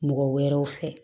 Mɔgɔ wɛrɛw fɛ